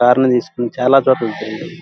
Car నీ తీసుకొని చాలా చోట్ల తిరిగేది.